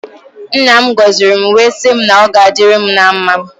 Nna m goziri m wee sị m na ọ ga adịrị m na mmá.